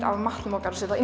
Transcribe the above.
af matnum okkar og setja á